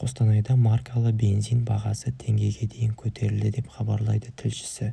қостанайда маркалы бензин бағасы теңгеге дейін көтерілді деп хабарлайды тілшісі